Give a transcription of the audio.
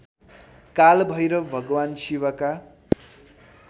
कालभैरव भगवान् शिवका